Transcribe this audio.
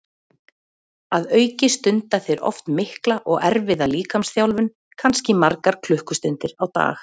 Að auki stunda þeir oft mikla og erfiða líkamsþjálfun, kannski margar klukkustundir á dag.